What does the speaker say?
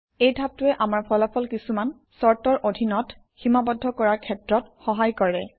এই ধাপটোৱে আমাৰ ফলাফল কিছুমান চৰ্তৰ অধীনত সীমাবদ্ধ কৰাৰ ক্ষেত্ৰত সহায় কৰে